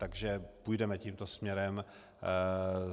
Takže půjdeme tímto směrem.